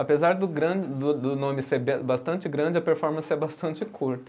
Apesar do grande, do do nome ser bastante grande, a performance é bastante curta.